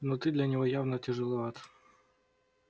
но ты для него явно тяжеловат